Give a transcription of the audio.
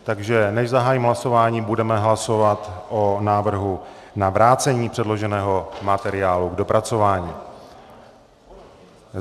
Takže než zahájím hlasování, budeme hlasovat o návrhu na vrácení předloženého materiálu k dopracování.